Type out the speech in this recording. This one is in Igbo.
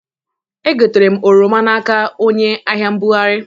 Egotere m oroma n'aka onye ahịa-mbugarị